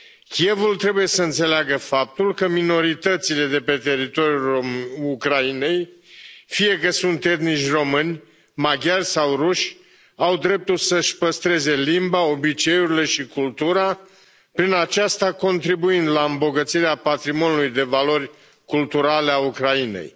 Kievul trebuie să înțeleagă faptul că minoritățile de pe teritoriul Ucrainei, fie că sunt etnici români, maghiari sau ruși, au dreptul să și păstreze limba, obiceiurile și cultura, prin aceasta contribuind la îmbogățirea patrimoniului de valori culturale al Ucrainei.